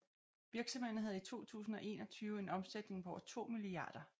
Virksomheden havde i 2021 en omsætning på over 2 mia